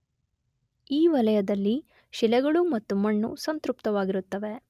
ಈ ವಲಯದಲ್ಲಿ ಶಿಲೆಗಳು ಮತ್ತು ಮಣ್ಣು ಸಂತೃಪ್ತವಾಗಿರುತ್ತವೆ.